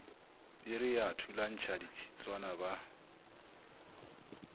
piri ba thulantšha ditshitswana ba